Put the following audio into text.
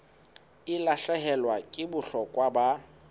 e lahlehelwa ke bohlokwa ba